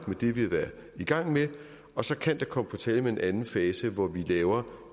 med det vi har været i gang med og så kan det komme på tale med en anden fase hvor vi laver